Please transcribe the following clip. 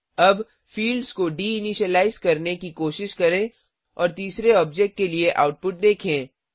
अब फिल्ड्स को deinitialize करने की कोशिश करें और तीसरे ऑब्जेक्ट के लिए आउटपुट देखें